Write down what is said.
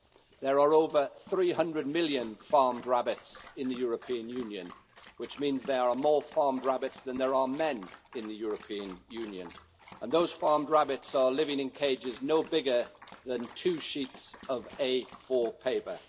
There are over 300 million farmed rabbits in the European Union, which means there are more farmed rabbits than there are men in the European Union, and those farmed rabbits are living in cages no bigger than two sheets of A4 paper.